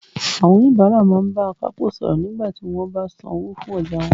Àwọn oníbàárà máa ń bá akápò sọ̀rọ̀ nígbà tí wọ́n bá san owó fún ọjà wọn